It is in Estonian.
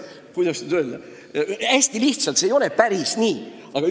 Kuidas nüüd hästi lihtsalt öelda?